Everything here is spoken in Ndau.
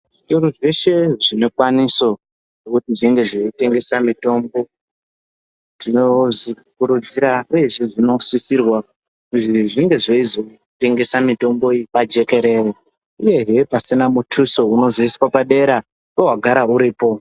Zvitoro zveshe zvinekwaniso yekuti zveitengesa mitombo tinozvikurudzira uyezve zvinosisirwa kuzi zvinge zveizotengesa mitombo iyi pajekerere uyehe pasina muthuso unozoiswa padera pewagara uripo.